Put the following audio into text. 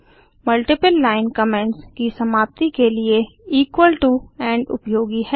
multiple line comments की समाप्ति के लिए इक्वल टो इंड उपयोगी है